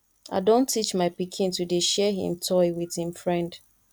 i don teach my pikin to dey share him toy wit im friend